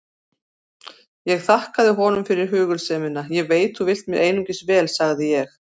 Ég þakkaði honum hugulsemina: Ég veit þú vilt mér einungis vel sagði ég.